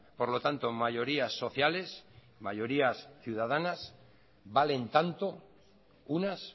por lo tanto mayorías sociales mayorías ciudadanas valen tanto unas